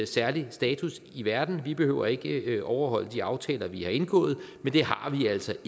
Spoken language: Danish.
særlig status i verden vi behøver ikke overholde de aftaler vi har indgået men det har vi altså